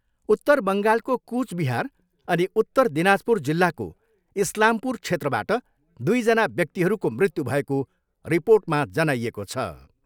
उत्तर बङ्गालको कुचबिहार अनि उत्तर दिनाजपुर जिल्लाको इस्लामपुर क्षेत्रबाट दुईजना व्यक्तिहरूको मृत्यु भएको रिपोर्टमा जनाइएको छ।